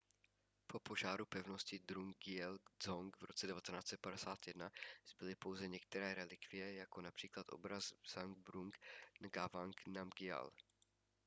po požáru pevnosti drukgyel dzong v roce 1951 zbyly pouze některé relikvie jako například obraz zhabdrung ngawang namgyal